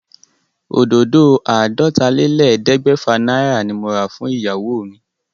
Òdòdó àádọ́tálélẹ́ẹ̀ẹ́dẹ́gbẹ́fà náírà ni mo rà fún ìyàwó mi.